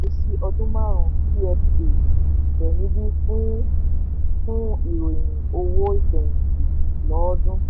ìṣesí ọdún márún pfa tẹ níbí fún fún ìròyìn owó ìfẹ̀yìntì lọ́ọ́dún.